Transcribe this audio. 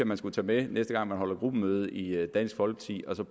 man skulle tage med næste gang man holder gruppemøde i dansk folkeparti og så